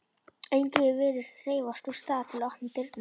Enginn virðist hreyfast úr stað til að opna dyrnar.